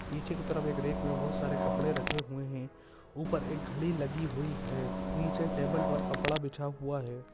पीछे की तरफ एक रैक में बहुत सारे कपड़े रखे हुए हैं ऊपर एक घड़ी लगी हुई हैं नीचे टेबल पर कपड़ा बिछा हुआ हैं।